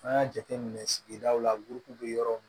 An y'a jateminɛ sigidaw la burukew be yɔrɔ min